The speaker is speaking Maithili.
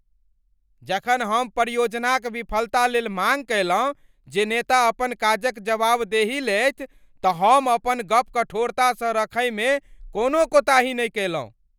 जखन हम परियोजनाक विफलता लेल माँग कयलहुँ जे नेता अपन काजक जवाबदेही लेथि तऽ हम अपन गप कठोरतासँ रखैमे कोनो कोताही नहि कएलहुँ।